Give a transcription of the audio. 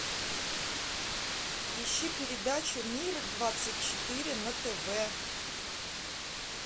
ищи передачу мир двадцать четыре на тв